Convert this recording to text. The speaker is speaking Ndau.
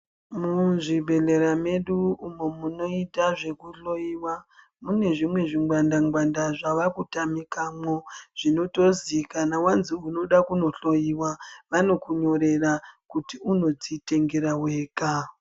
Muzvibhedhlera medu uno munoita zvekuhloyiwamune zvimwe zvingwanda ngwanda zvakutamikemwo zvinotozi kana wazi unoda kunohloyiwa vanokunyorera kuti unodzitengera wega.